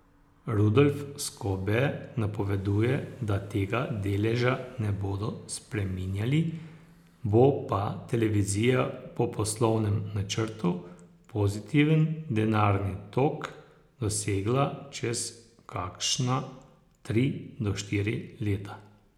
Rudolf Skobe napoveduje, da tega deleža ne bodo spreminjali, bo pa televizija po poslovnem načrtu pozitiven denarni tok dosegla čez kakšna tri do štiri leta.